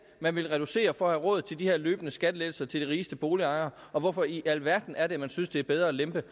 man vil reducere for at have råd til de her løbende skattelettelser til de rigeste boligejere og hvorfor i alverden er det at man synes det er bedre at lempe